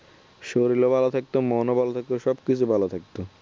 শরীরও ভালো থাকতো মন ভালো থাকতো সবকিছু ভালো থাকতো